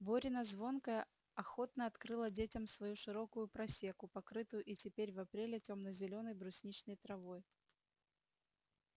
борина звонкая охотно открыла детям свою широкую просеку покрытую и теперь в апреле темно-зелёной брусничной травой